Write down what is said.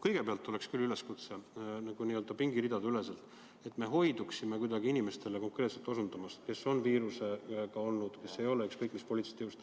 Kõigepealt teen küll üleskutse pingiridadeüleselt, et me hoiduksime osutamast konkreetsetele inimestele, kes on viirusega kokku puutunud, olgu nad ükskõik mis poliitilisest jõust.